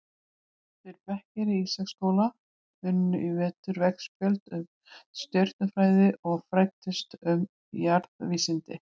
Tveir bekkir í Ísaksskóla unnu í vetur veggspjöld um stjörnufræði og fræddust um jarðvísindi.